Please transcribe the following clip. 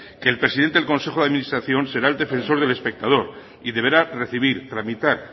que el presidente del consejo de administración será el defensor del espectador y deberá recibir tramitar